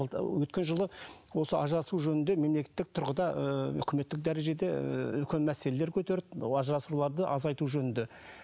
өткен жылы осы ажырасу жөнінде мемлекеттік тұрғыда ыыы үкіметтік дәрежеде ы үлкен мәселелер көтерді ажырасуларды азайту жөнінде